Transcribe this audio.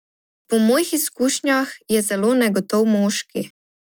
Po mojih izkušnjah je zelo negotov moški.